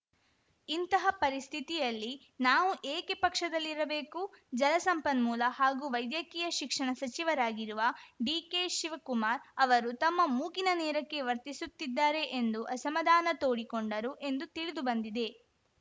ಇಂತಹ ಪರಿಸ್ಥಿತಿಯಲ್ಲಿ ನಾವು ಏಕೆ ಪಕ್ಷದಲ್ಲಿರಬೇಕು ಜಲಸಂಪನ್ಮೂಲ ಹಾಗೂ ವೈದ್ಯಕೀಯ ಶಿಕ್ಷಣ ಸಚಿವರಾಗಿರುವ ಡಿಕೆ ಶಿವಕುಮಾರ್‌ ಅವರೂ ತಮ್ಮ ಮೂಗಿನ ನೇರಕ್ಕೆ ವರ್ತಿಸುತ್ತಿದ್ದಾರೆ ಎಂದು ಅಸಮಾಧಾನ ತೋಡಿಕೊಂಡರು ಎಂದು ತಿಳಿದುಬಂದಿದೆ